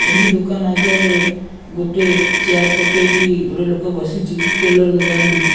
ଏହି ଦୋକାନ୍ ଆଗରେ ଗୋଟେ ଚେୟାର ପକେଇକି ଗୋଟେ ଲୋକ ବସିଚି ଟେଲର ଦୋକାନଟି --